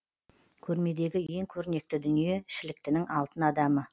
көрмедегі ең көрнекті дүние шіліктінің алтын адамы